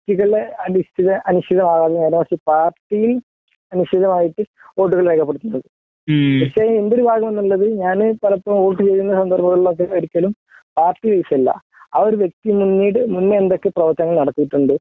വ്യക്തികളെ അടിസ്ഥിത അടിസ്ഥിതമാകാതെ നേരെ മറിച്ച് പാർട്ടി അടിസ്ഥിതമായിട്ട് വോട്ടുകൾ രേഖപ്പെടുത്തുന്നത് പക്ഷേ എന്റെ ഒരു ഭാഗം എന്നുള്ളത് ഞാന് പലപ്പോഴും വോട്ട് ചെയ്യുന്ന സന്ദർഭങ്ങളിൽ ഒരിക്കലും പാർട്ടി ബേസ് അല്ല ആ ഒരു വ്യക്തി മുന്നേ എന്തൊക്കെ പ്രവർത്തനങ്ങൾ നടത്തിയിട്ടുണ്ട്